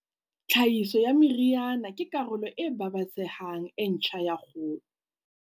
Tlhahiso ya meriana ke karolo e babatsehang e ntjha ya kgolo.